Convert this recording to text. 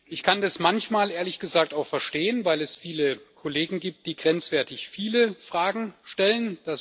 Ich kann das manchmal, ehrlich gesagt, auch verstehen, weil es viele Kollegen gibt, die grenzwertig viele Anfragen stellen.